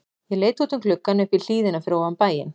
Ég leit út um gluggann upp í hlíðina fyrir ofan bæinn.